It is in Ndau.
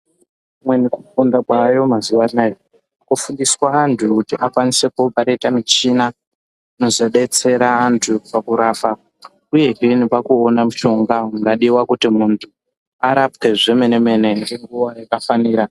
Kumweni kufunda kwaayo mazuwa anaya kufundisa anhu kuti akwanise kuopareta muchina inozodetsera antu pakurapa uyehe nepakuuona mushonga ungadiwa kuti muntu arapwe zvemenemene nenguwa yakafanira.